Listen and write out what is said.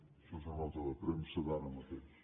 això és una nota de premsa d’ara mateix